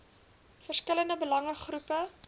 verskillende belange groepe